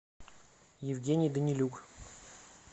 евгений данилюк